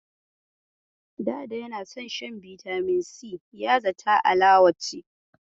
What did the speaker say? Ɗada yana son shan bitamin si, ya zata alawa ce.